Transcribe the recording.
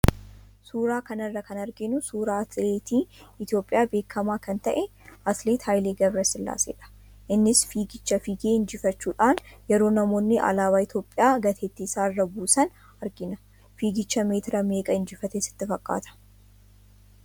Suuraa kana irraa kan arginu suuraa atileetii Itoophiyaa beekamaa kan ta'e, atileet Haile Gabrasillaaseedha. Innis fiigicha fiigee injifachuudhaan yeroo namoonni alaabaa Itoophiyaa gateettii isaa irra buusan argina. Fiigicha meetira meeqaa injifate sitti fakkaata?